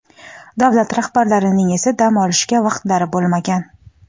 Davlat rahbarlarining esa dam olishga vaqtlari bo‘lmagan.